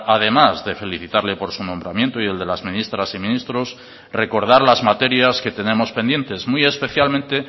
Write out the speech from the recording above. además de felicitarle por su nombramiento y el de las ministras y ministros recordar las materias que tenemos pendientes muy especialmente